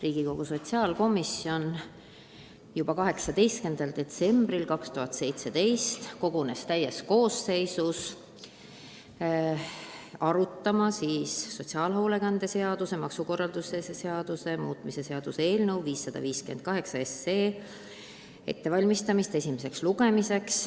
Riigikogu sotsiaalkomisjon kogunes juba 18. detsembril 2017 täies koosseisus arutama sotsiaalhoolekande seaduse ja maksukorralduse seaduse muutmise seaduse eelnõu 558 ettevalmistamist esimeseks lugemiseks.